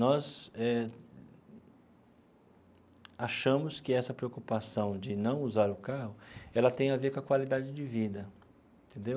Nós eh achamos que essa preocupação de não usar o carro ela tem a ver com a qualidade de vida entendeu.